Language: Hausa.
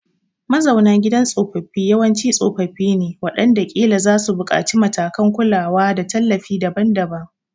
Mazauna gidan tsofaffi yawanci tsofaffi ne waɗanda ƙila za su buƙaci matakan kulawa da tallafi daban-daban.